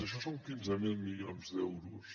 això són quinze mil milions d’euros